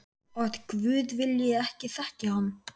Að guð vilji ekki þekkja hann.